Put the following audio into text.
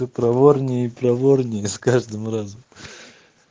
ты проворнее и проворнее с каждым разом